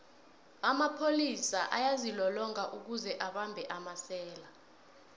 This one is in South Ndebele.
amapholis ayazilolonga kuze abambhe amasela